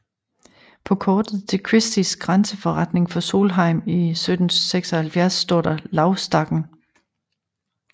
På kortet til Christies grænseforretning for Solheim i 1776 står der Lauvstakken